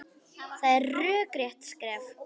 Það er rökrétt skref.